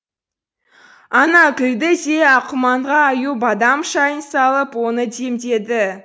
ана күлді де аққұманға аю бадам шайын салып оны демдеді